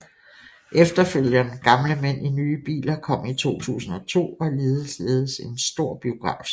Efterfølgeren Gamle mænd i nye biler kom i 2002 og ligeledes en stor biografsucces